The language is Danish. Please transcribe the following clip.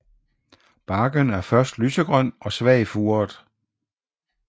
Barken er først lysegrøn og svagt furet